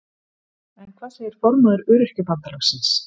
En hvað segir formaður Öryrkjabandalagsins?